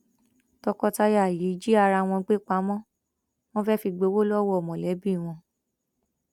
tọkọtaya yìí jí ara wọn gbé pamọ wọn fẹẹ fi gbowó lọwọ mọlẹbí wọn